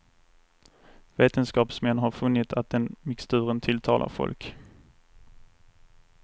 Vetenskapsmän har funnit att den mixturen tilltalar folk.